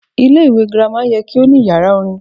Ilé ìwé girama ye kí ó ní yàrá orin